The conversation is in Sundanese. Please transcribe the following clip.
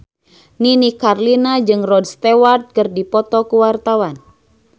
Nini Carlina jeung Rod Stewart keur dipoto ku wartawan